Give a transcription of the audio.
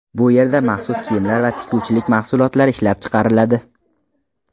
Bu yerda maxsus kiyimlar va tikuvchilik mahsulotlari ishlab chiqariladi.